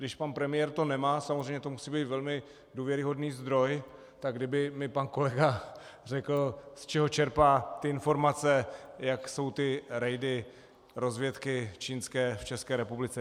Když pan premiér to nemá, samozřejmě to musí být velmi důvěryhodný zdroj, tak kdyby mi pan kolega řekl, z čeho čerpá ty informace, jak jsou ty rejdy rozvědky čínské v České republice.